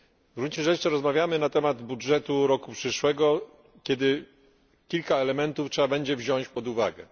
W gruncie rzeczy rozmawiamy na temat budżetu roku przyszłego, kiedy kilka elementów trzeba będzie wziąć pod uwagę.